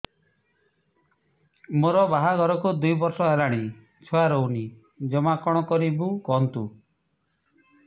ମୋ ବାହାଘରକୁ ଦୁଇ ବର୍ଷ ହେଲାଣି ଛୁଆ ରହୁନି ଜମା କଣ କରିବୁ କୁହନ୍ତୁ